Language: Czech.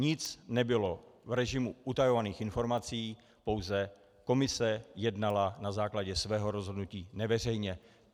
Nic nebylo v režimu utajovaných informací, pouze komise jednala na základě svého rozhodnutí neveřejně.